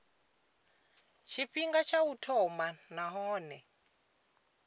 tshifhinga tsha u thoma nahone